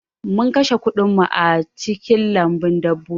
Mun kashe kuɗin mu a cikin lambun dabbobi